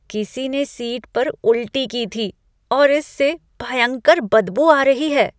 किसी ने सीट पर उल्टी की थी और इससे भयंकर बदबू आ रही है।